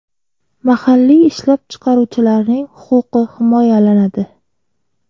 Mahalliy ishlab chiqaruvchilarning huquqi himoyalanadi.